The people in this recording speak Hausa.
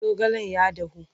zaogalen ya dahu.